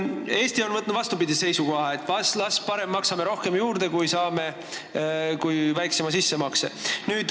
Eesti on võtnud vastupidise seisukoha: parem maksame ise rohkem kui saame väiksema toetuse.